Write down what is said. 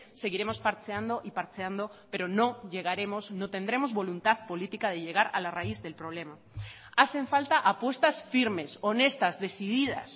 seguiremos parcheando y parcheando perono llegaremos no tendremos voluntad política de llegar a la raíz del problema hacen falta apuestas firmes honestas decididas